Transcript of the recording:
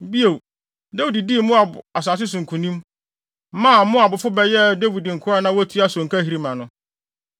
Bio, Dawid dii Moab asase no so nkonim, maa Moabfo no bɛyɛɛ Dawid nkoa a na wotua sonkahiri ma no.